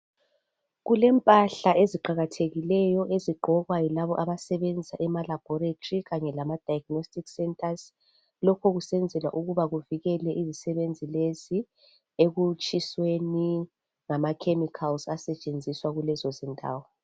Kulempahla eziqakathekileyo ezigqokwa yilabo abasebenza emalaboritory kanye lama diagnostic centres. Lokhu kusenzelwa ukuba kuvikele izisebenzi lezi ekutshisweni ngama chemicals asetshenziswa kulezo zindawo.